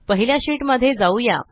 पहिल्या शीट मध्ये जाऊया